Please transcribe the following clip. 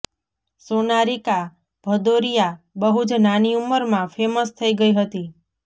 સોનારિકા ભદૌરિયા બહુ જ નાની ઉંમર માં ફેમસ થઇ ગઈ હતી